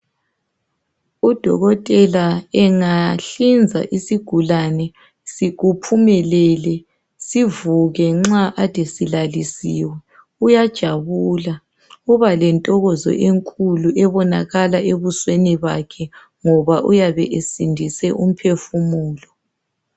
Udokotela engahlinza isigulani ephumelele sivuke nxa Kade silalisiwe uyajabula ubalentokozo enkulu ebonakala ebusweni bakhe ngoba uyabe esindise umphefumulo